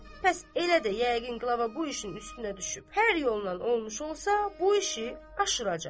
Bəs elədirsə, yəqin qlava bu işin üstünə düşüb hər yollan olmuş olsa bu işi aşıracaq.